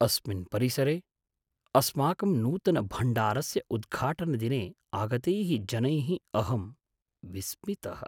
अस्मिन् परिसरे अस्माकं नूतनभण्डारस्य उद्घाटनदिने आगतैः जनैः अहं विस्मितः।